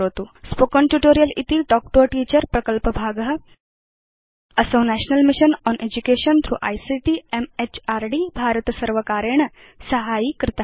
spoken tutorial इति talk to a teacher प्रकल्पभाग असौ national mission on education through ICT MHRD भारतसर्वकारेण साहाय्यीकृत